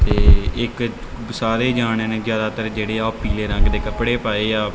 ਤੇ ਇੱਕ ਸਾਰੇ ਜਾਣੇ ਨੇ ਜਿਆਦਾਤਰ ਜਿਹੜੇ ਆ ਉਹ ਪੀਲੇ ਰੰਗ ਦੇ ਕੱਪੜੇ ਪਾਏ ਆ।